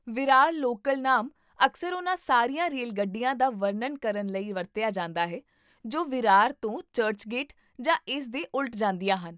Virar local ਨਾਮ ਅਕਸਰ ਉਹਨਾਂ ਸਾਰੀਆਂ ਰੇਲਗੱਡੀਆਂ ਦਾ ਵਰਣਨ ਕਰਨ ਲਈ ਵਰਤਿਆ ਜਾਂਦਾ ਹੈ ਜੋ ਵਿਰਾਰ ਤੋਂ ਚਰਚਗੇਟ ਜਾਂ ਇਸ ਦੇ ਉਲਟ ਜਾਂਦੀਆਂ ਹਨ